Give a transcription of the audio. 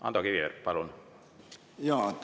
Ando Kiviberg, palun!